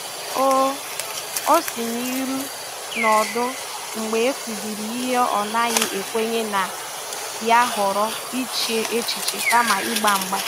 Ọ Ọ sìnuru n’ọdụ mgbe e kụziri ihe ọ̀ naghị ekwenye na ya, họrọ iche echiche kama ịgba mgba.